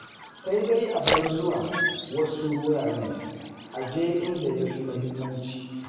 Sai dai a bar zuwa wasu wuraren a je inda ya fi muhimmanci.